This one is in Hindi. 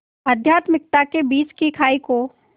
आध्यात्मिकता के बीच की खाई को